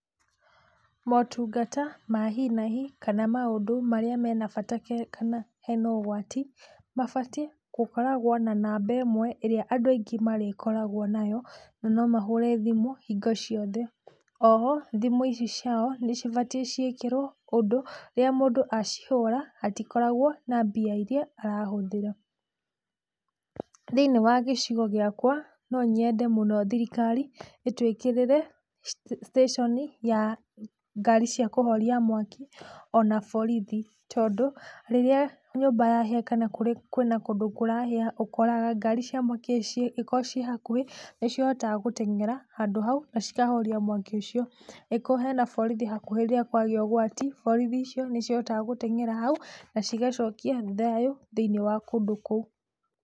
Motungata ma hi na hi kana maũndũ marĩa mena bata kana hena ũgwati mabatie gũkoragwo na namba ĩmwe ĩrĩa andũ aingĩ marĩkoragwo nayo na no mahũre thimũ hingo ciothe, oho thimũ ici ciao nĩcibatie ciĩkĩrwo ũndũ rĩrĩa mũndũ acihũra hatikoragwo na mbia iria arahũthĩra. Thĩinĩ wa gĩcigo gĩakwa no nyende mũno thirikari ĩtũĩkĩrĩre stĩshoni ya ngari cia kũhoria mwaki ona borithi tondũ rĩrĩa nyũmba yahĩa kana kwĩna kũndũ kũrahĩa ũkoraga akorwo ngari cia mwaki koo ciĩ hakuhĩ nĩcihotaga gũteng'era handũ hau na ikahoria mwaki ũcio akoo kwĩna borithi hakuhĩ rĩrĩa kwagĩa ũgwati borithi icio nĩihotaga gũteng'era hau na cigacokia thayũ thĩinĩ wa kũndũ kũu.